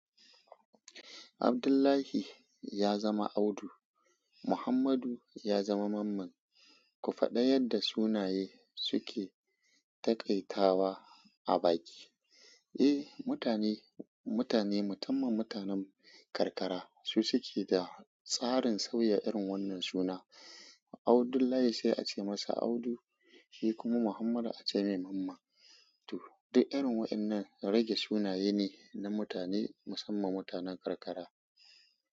Abdullahi ya zama Audu. Muhammadu ya zama Mamman. Ku faɗi yadda sunaye suke taƙaitawa a baki. Eh, mutane, mutane, musamman mutanen karkara, su suke da tsarin sauya irin wannan suna. Abdullahi sai a ce masa Audu, shi kuma Muhammadu a ce mai Mamman. To, duk irin waɗannan rage sunaye ne na mutane, musamman mutanen karkara.